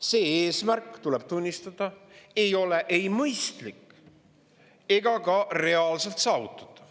See eesmärk, tuleb tunnistada, ei ole ei mõistlik ega ka reaalselt saavutatav.